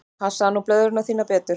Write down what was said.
Passaðu nú blöðruna þína betur.